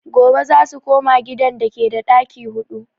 Gobe zasu koma gidan dake da ɗaki huɗu